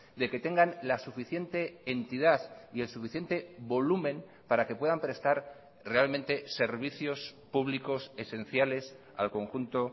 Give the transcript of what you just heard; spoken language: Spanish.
de que tengan la suficiente entidad y el suficiente volumen para que puedan prestar realmente servicios públicos esenciales al conjunto